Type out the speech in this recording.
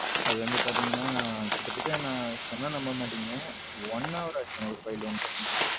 அது வந்து பாத்தீங்கன்னா கிட்டத்தட்ட நான் சொன்னா நம்ப மாட்டிங்க one hour ஆச்சு ஒரு file download பண்றதுக்கு.